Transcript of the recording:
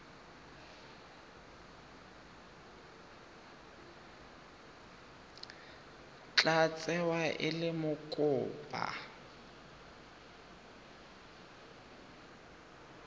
tla tsewa e le mokopa